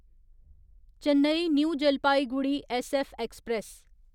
Chennai new Jalpaiguri SF express